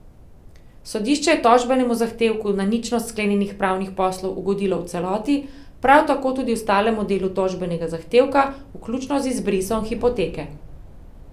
Sodišče je tožbenemu zahtevku na ničnost sklenjenih pravnih poslov ugodilo v celoti, prav tako tudi ostalemu delu tožbenega zahtevka, vključno z izbrisom hipoteke.